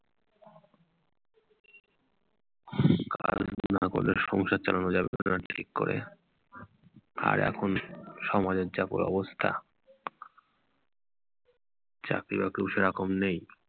কাজ না করলে সংসার চালানো যাবে কি না ঠিক করে! আর এখন সময়ের যা অবস্থা চাকরি বাকরি ও সেরকম নেই।